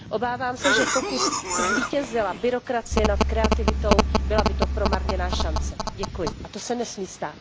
Obávám se, že pokud by zvítězila byrokracie nad kreativitou, byla by to promarněná šance a to se nesmí stát.